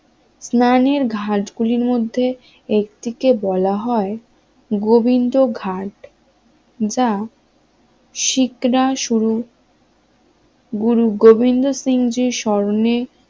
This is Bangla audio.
স্নানের ঘাট গুলির মধ্যে একটি কে বলা হয় গোবিন্দঘাট যা শিখরা শুরু গুরু গোবিন্দ সিং জির স্মরণে